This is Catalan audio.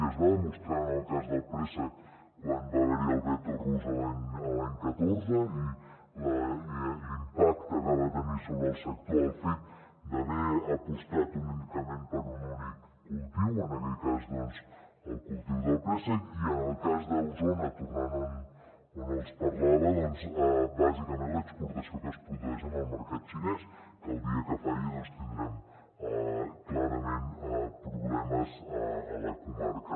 i es va demostrar en el cas del préssec quan va haver·hi el veto rus l’any catorze i l’impacte que va tenir sobre el sector el fet d’ha·ver apostat únicament per un únic cultiu en aquell cas el cultiu del préssec i en el cas d’osona tornant on els parlava bàsicament l’exportació que es produeix en el mercat xinès que el dia que falli tindrem clarament problemes a la comarca